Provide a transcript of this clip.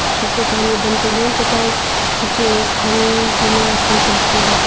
ta nyi ban tailey to ta tuchi ham tho ma ful zam chu tailey.